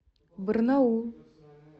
барнаул